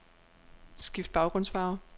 Skift baggrundsfarve.